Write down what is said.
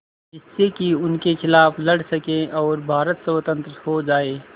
जिससे कि उनके खिलाफ़ लड़ सकें और भारत स्वतंत्र हो जाये